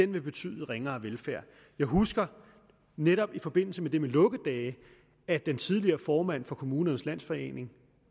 vil betyde ringere velfærd jeg husker netop i forbindelse med det med lukkedage at den tidligere formand for kommunernes landsforening